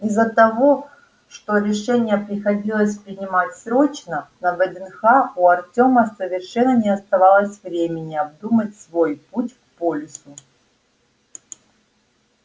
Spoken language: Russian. из-за того что решение приходилось принимать срочно на вднх у артёма совершенно не оставалось времени обдумать свой путь к полису